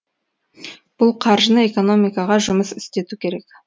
бұл қаржыны экономикаға жұмыс істету керек